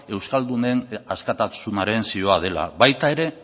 euskaldunen askatasunaren zihoa dela baita ere